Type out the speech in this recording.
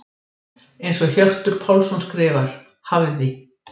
Eins og Hjörtur Pálsson skrifar: Hafði.